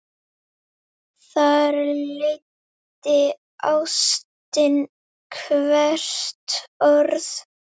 Þar leiddi ástin hvert orð.